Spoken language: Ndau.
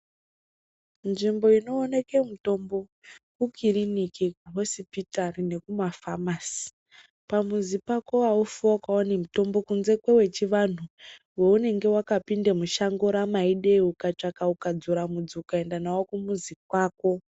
Nzvimbo inooneke mitombo ikiriniki, hosipitari nekumafamasi. Pamuzi pako haufi wakaone mutombo kunze kwewechivanhu, wounenge wakapinde mushango ramaidei ukatsvaka ukadzura mudzi ukaenda nawo kumuzi kwako.